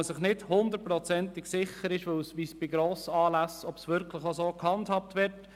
Man ist sich nicht hundertprozentig sicher, ob die Entschädigung bei Grossanlässen auch so gehandhabt wird.